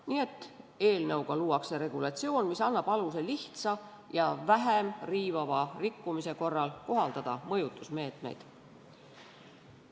Nii et eelnõuga luuakse regulatsioon, mis annab aluse lihtsa ja vähem riivava rikkumise korral kohaldada mõjutusmeetmeid.